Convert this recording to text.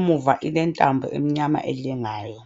ngemvu ile ntambo emnyama elengayo.